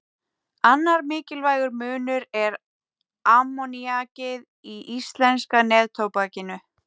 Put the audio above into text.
Annar mikilvægur munur er ammoníakið í íslenska neftóbakinu.